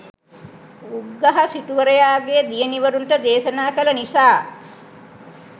උග්ගහ සිටුවරයාගේ දියණිවරුන්ට දේශනා කළ නිසා